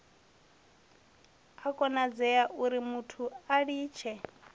a konadzea urimuthu a litshe